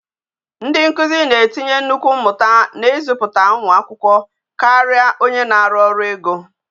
Ndị nkuzi na etinye nnukwu mmụta n'izụpụta ụmụ akwụkwọ karia onye na-arụ ọrụ ego.